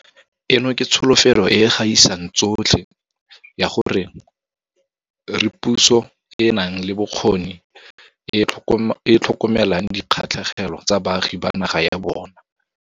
Eno ke tsholofetso e e gaisang tsotlhe ya gore re puso e e nang le bokgoni e e tlhokomelang dikgatlhegelo tsa baagi ba naga ya yona.